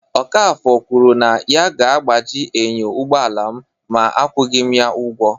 Okafor kwuru na ọ ga-agbaji enyo ụgbọ ala m ma akwụghị ya ugwo